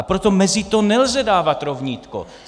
A proto mezi to nelze dávat rovnítko.